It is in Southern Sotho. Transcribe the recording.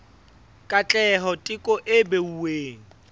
katleho teko e beuweng ho